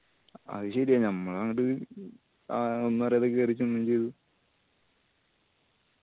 അത് ശെരിയാ ഞമ്മള് അങ്ങട് ആ അവന്മാർ ആദ്യം കേറിച്ചെന്ന്